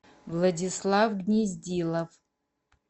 владислав гнездилов